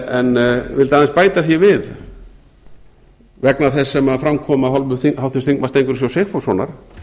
en vildi aðeins bæta því við vegna þess sem fram kom af hálfu háttvirts þingmanns steingríms j sigfússonar